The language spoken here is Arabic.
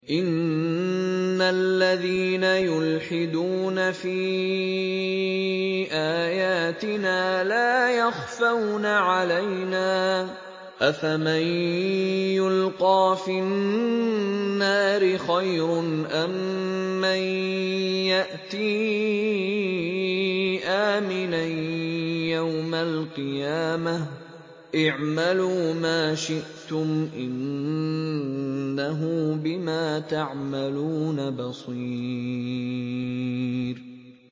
إِنَّ الَّذِينَ يُلْحِدُونَ فِي آيَاتِنَا لَا يَخْفَوْنَ عَلَيْنَا ۗ أَفَمَن يُلْقَىٰ فِي النَّارِ خَيْرٌ أَم مَّن يَأْتِي آمِنًا يَوْمَ الْقِيَامَةِ ۚ اعْمَلُوا مَا شِئْتُمْ ۖ إِنَّهُ بِمَا تَعْمَلُونَ بَصِيرٌ